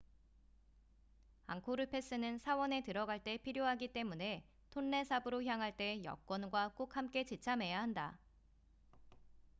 앙코르 패스는 사원에 들어갈 때 필요하기 때문에 톤레삽으로 향할 때 여권과 꼭 함께 지참해야 한다